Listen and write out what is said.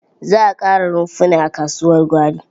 Za a ƙara rumfuna a kasuwar gwari.